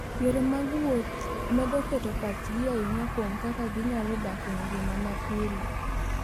Yore mag wuoth medo keto pachgi ahinya kuom kaka ginyalo dak e ngima mapile.